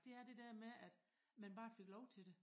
Det er det dér med at man bare fik lov til det